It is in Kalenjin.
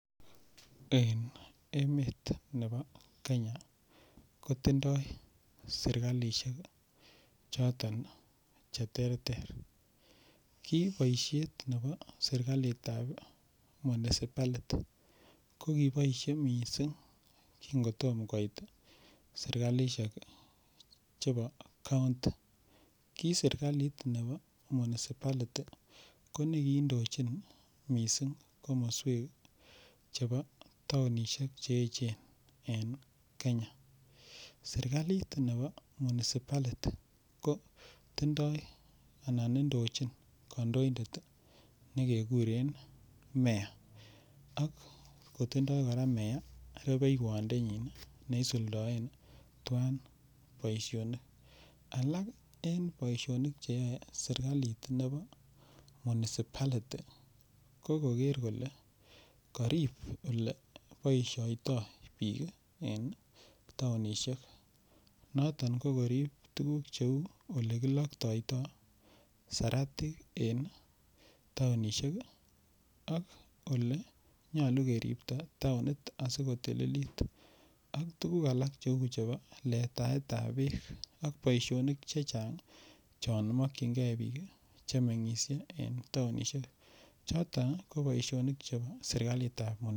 en emet nebo Kenya, kotindoo serkalishek choton cheterter, kii boisheet nebo serkaiit ab municipality kogiboishe mising kiin kotoom koiit serkalishek chebo county, kii serkaliit nebo municipality konegindochi mising komosweek chebo taonishek cheechen en kenya, serkaliit nebo municipality kotindoo anan indochin kondoindet negegureen mea, ak kotindo koraa mea rubeiywoot ndenchiin iih neisuldoen twaan boishonik, alaak en boisnik cheyoe serkaliit nebo municipality, ko kogeer kole koriib oleboishoitoo biik en taonishek noton koriib tuguuk cheuu olegiloktoitoi seratiik en taonishek iiih ak ole nyolu keribto taonit asigotililit, ak tuguuk alak cheuu chebo lataet ab beek, ak boishonik chechang iih choon mokyingee biik chemengisye en taonishek choton ko boishonik chebo serkaliit ab municipality.